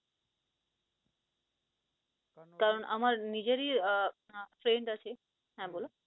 কারন আমার নিজেরই আহ friend আছে, হ্যাঁ বল